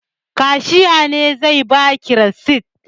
Kashiya ne zai ba ki risit.